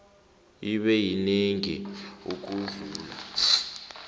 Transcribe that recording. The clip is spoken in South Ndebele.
ibe yinengi ukudlula